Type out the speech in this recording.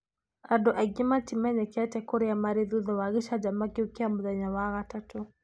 Andũ maingĩ matimenyekete kurĩa marĩ thutha wa gĩcanjama kĩu kĩa mũthenya wa gathatu.